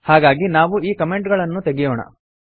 ಹಾಗಾಗಿ ನಾವು ಈ ಕಮೆಂಟ್ ಗಳನ್ನೂ ತೆಗೆಯೋಣ